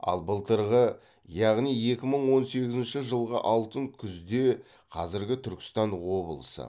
ал былтырғы яғни екі мың он сегізінші жылғы алтын күзде қазіргі түркістан облысы